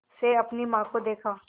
से अपनी माँ को देखा